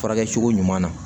Furakɛcogo ɲuman na